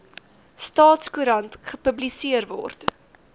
staatskoerant gepubliseer word